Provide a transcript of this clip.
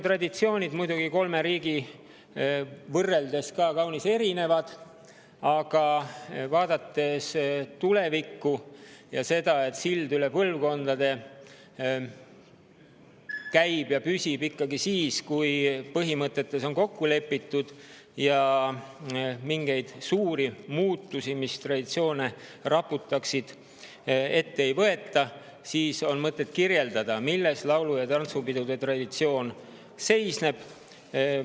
Traditsioonid on muidugi kolmes riigis kaunis erinevad, aga kui vaadata tulevikku ja seda, et sild üle põlvkondade ikkagi siis, kui põhimõtetes on kokku lepitud ja mingeid suuri muutusi, mis traditsioone raputaksid, ette ei võeta, siis on mõtet kirjeldada, milles laulu‑ ja tantsupidude traditsioon seisneb.